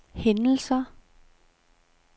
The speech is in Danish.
hændelser